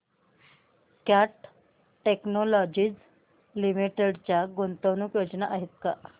cat Technologies Limited च्या गुंतवणूक योजना आहेत का